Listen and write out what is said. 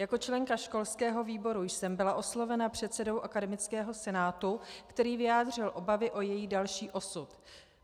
Jako členka školského výboru jsem byla oslovena předsedou akademického senátu, který vyjádřil obavy o její další osud.